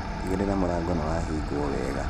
Tigĩrĩra mũrango nĩwahingwo wega